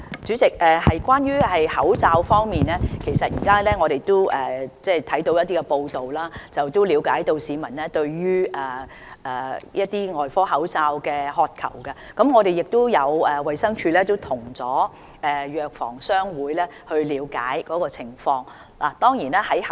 主席，關於口罩方面，我們從一些報道中了解到市民對外科口罩的渴求，而衞生署已經向港九藥房總商會了解情況。